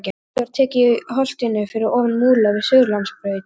Grjótið var tekið í holtinu fyrir ofan Múla við Suðurlandsbraut.